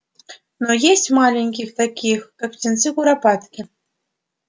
на есть маленьких таких как птенцы куропатки